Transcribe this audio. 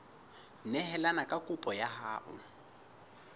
neelane ka kopo ya hao